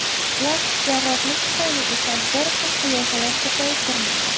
Plastik jarrohlik tufayli esa ‘bir xil’ qiyofalar ko‘payib bormoqda.